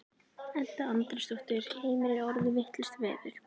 Edda Andrésdóttir: Heimir er orðið vitlaust veður?